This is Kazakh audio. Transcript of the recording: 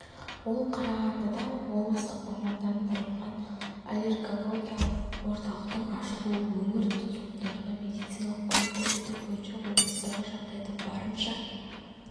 ол қарағандыда облыстық мамандандырылған аллергологиялық орталықтың ашылуы өңір тұрғындарына медициналық көмек көрсету бойынша облыстағы жағдайды барынша